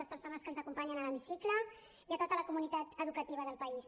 les persones que ens acompanyen a l’hemicicle i a tota la comunitat educativa del país